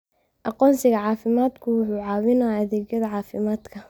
Aqoonsiga caafimaadku waxa uu caawiyaa adeegyada caafimaadka.